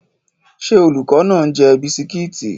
Ṣé olùkọ́ náà ń jẹ bisikíìtì?